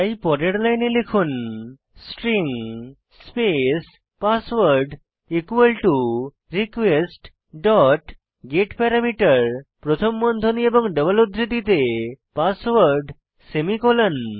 তাই পরের লাইনে লিখুন string space password request dot get parameter প্রথম বন্ধনী এবং ডাবল উদ্ধৃতিতে পাসওয়ার্ড সেমিকোলন